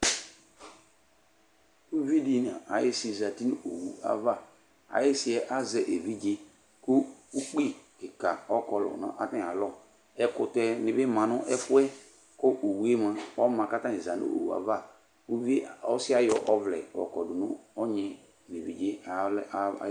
Uvɩ di nu ayisi zati nu owu ava, ayisi'ɛ azɛ evidze ku ukpɩ kika ɔkɔlu nu atami alɔ Ɛkutɛ ni bi ma nu ɛfuɛ, kɔ ewue mua ɔma k'atani za n'owu'ava ɔsiɛ ayɔ ɔvlɛ yɔ kɔ du nu ɔnyi